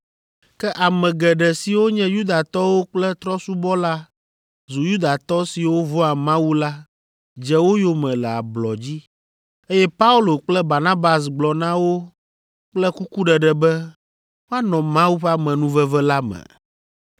Ke ame geɖe siwo nye Yudatɔwo kple trɔ̃subɔla zu Yudatɔ siwo vɔ̃a Mawu la dze wo yome le ablɔ dzi, eye Paulo kple Barnabas gblɔ na wo kple kukuɖeɖe be woanɔ Mawu ƒe amenuveve la me.